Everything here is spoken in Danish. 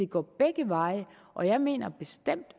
går begge veje og jeg mener bestemt